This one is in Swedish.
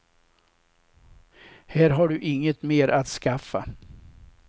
Här har du inget mer att skaffa.